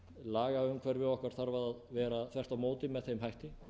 lagaumhverfi okkar þarf að vera þvert á móti með þeim hætti